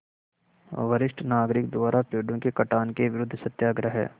वरिष्ठ नागरिक द्वारा पेड़ों के कटान के विरूद्ध सत्याग्रह